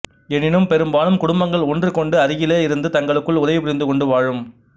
எனினும் பெரும்பாலும் குடும்பங்கள் ஒன்றுக்கொன்று அருகிலேயே இருந்து தங்களுக்குள் உதவி புரிந்து கொண்டு வாழும்